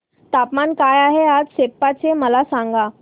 तापमान काय आहे आज सेप्पा चे मला सांगा